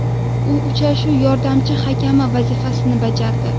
U uchrashuv yordamchi hakami vazifasini bajardi.